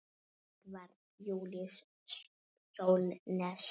Edvarð Júlíus Sólnes.